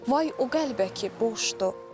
Vay o qəlbə ki, boşdur.